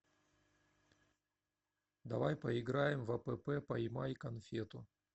давай поиграем в апп поймай конфету